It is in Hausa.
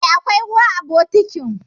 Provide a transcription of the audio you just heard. E, akwai ruwa a bokitin.